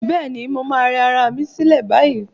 Bẹ́ẹ̀ni, mo máa rẹ ara mi sílẹ̀ báyìí.